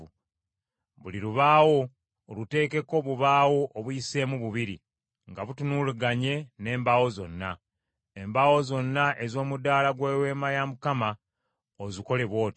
Buli lubaawo oluteekeko obubaawo obuyiseemu bubiri, nga butunulaganye n’embaawo zonna. Embaawo zonna ez’omudaala gw’Eweema ozikole bw’otyo.